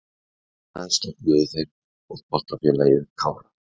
Og þarmeð stofnuðu þeir Fótboltafélagið Kára.